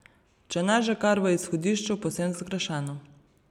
Če ne že kar v izhodišču povsem zgrešeno.